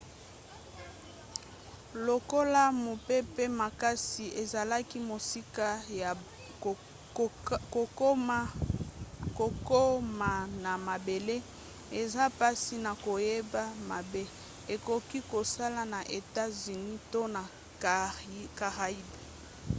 lokola mopepe makasi ezalaki mosika ya kokoma na mabele eza mpasi na koyeba mabe ekoki kosala na etats-unis to na caraïbes